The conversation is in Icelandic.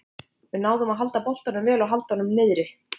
Við náðum að halda boltanum vel og halda honum niðri.